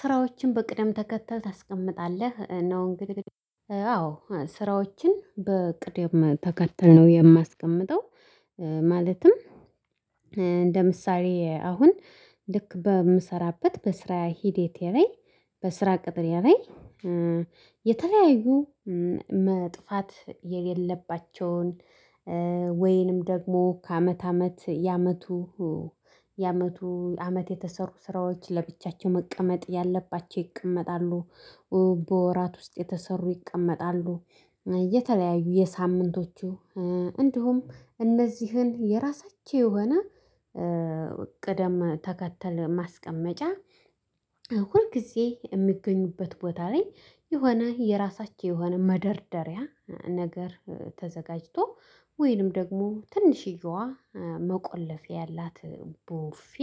ስራዎችን በቅደም ተከተል ታስቀምጣለህ ነው እንግዲህ አዎ ስራዎችን በቅደም ተከትል ነው የማስቀምጠው። ማለትም እንደ ምሳሌ አሁን ልክ በምሰራበት በስራ ሂደቴ ላይ በስራ ቅጥር ላይ የተለያዩ መጥፋት የሌለባቸውን ወይንም ደግሞ ከአመት አመት የአመቱ የአመቱ አመት የተሰሩ ስራዎች ለብቻቸው መቀመጥ ያለባቸው ይቀመጣሉ። በወራት ውስጥ የተሰሩ ይቀመጣሉ የተለያዩ የሳምንቶቹ እንዲሁም እነዚህን የራሳቸው የሆነ ቅደም ተከተል ማስቀመጫ ሁል ጊዜ የሚገኙበት ቦታ ላይ የሆነ የራሳቸው የሆነ መደርደሪያ ነገር ተዘጋጅቶ ወይንም ደግሞ ትንሽዬዋ መቆለፌ ያላት ቡፌ።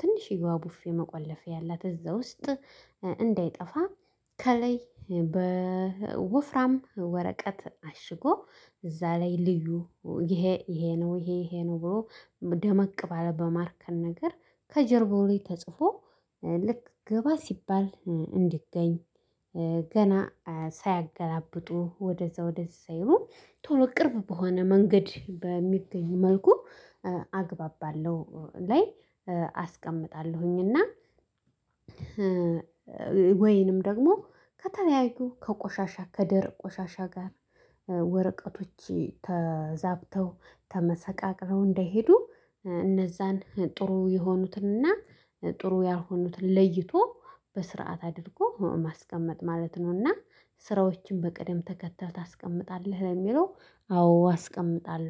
ትንሽያዋ ቡፌ መቆለፊ ያላት እዛ ውስጥ እንዳይጠፋ ከላይ በወፍራም ወረቀት አሽጎ እዛ ላይ ልዩ ይሄ ይሄ ነው ይሄ ይሄ ነው ብሎ ደመቅ ባለ በማርከን ነገር ከጀርባው ላይ ተጽፎ ልክ ግባ ሲባል እንዲገኝ ገና ሳያገላብጡ ወደዛ ወደዛ ሳይሉ ቶሎ ቅርብ በሆነ መንገድ በሚገኝ መልኩ አግባብ ባለው ላይ አስቀምጣለሁኝ። እና ደግሞ ከተለያዩ ከቆሻሻ ከደረቅ ቆሻሻ ጋር ወረቀቶች ተዛብተው ተመሰቃቅለው እንዳይሄዱ እነዛን ጥሩ የሆኑትን እና ጥሩ ያልሆኑትን ለይቶ በስርዓት አድርጎ ማስቀመጥ ማለት ነው። እና ስራዎችን በቀደም ተከተህ ታስቀምጣለህ ለሚለው አዎ አስቀምጣለሁ